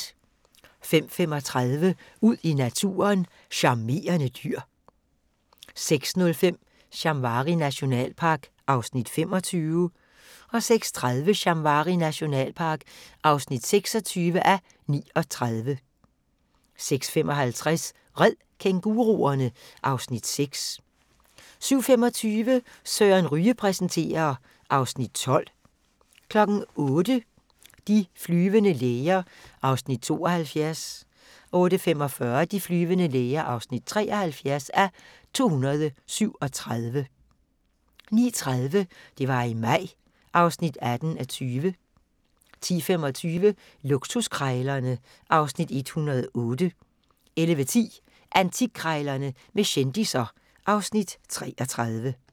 05:35: Ud i naturen: Charmerende dyr 06:05: Shamwari nationalpark (25:39) 06:30: Shamwari nationalpark (26:39) 06:55: Red kænguruerne! (Afs. 6) 07:25: Søren Ryge præsenterer (Afs. 12) 08:00: De flyvende læger (72:237) 08:45: De flyvende læger (73:237) 09:30: Det var i maj (18:20) 10:25: Luksuskrejlerne (Afs. 108) 11:10: Antikkrejlerne med kendisser (Afs. 33)